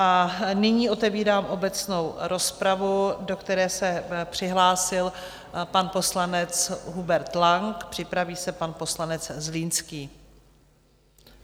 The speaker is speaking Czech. A nyní otevírám obecnou rozpravu, do které se přihlásil pan poslanec Hubert Lang, připraví se pan poslanec Zlínský.